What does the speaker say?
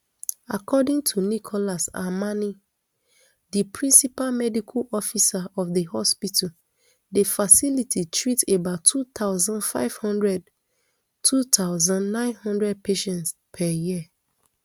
according to nicholas amani di principal medical officer of di hospital di facility treats about two thousand, five hundred two thousand, nine hundred patients per year